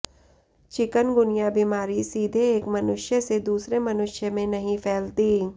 chikungunya बीमारी सीधे एक मनुष्य से दुसरे मनुष्य में नहीं फैलती